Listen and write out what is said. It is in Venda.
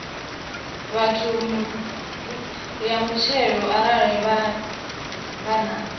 ya muthelo arali vha na